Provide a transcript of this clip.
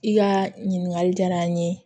I ka ɲininkali diyara n ye